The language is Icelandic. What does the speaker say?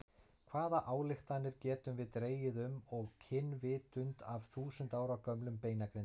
Hvaða ályktanir getum við dregið um og kynvitund af þúsund ára gömlum beinagrindum?